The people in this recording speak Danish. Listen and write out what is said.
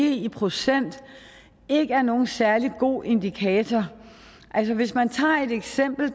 i procent ikke er nogen særlig god indikator hvis man tager det eksempel